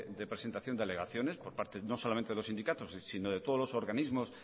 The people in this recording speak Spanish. de representación y alegaciones por parte no solamente de los sindicatos sino de todos los organismos